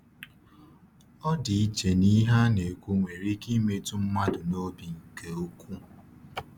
Ọdịiche n’ihe a na-ekwu nwere ike imetụ mmadụ n’obi nke ukwuu.